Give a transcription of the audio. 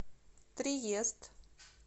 триест